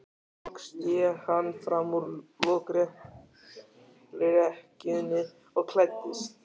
Loks sté hann fram úr lokrekkjunni og klæddist.